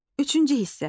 Üçüncü hissə.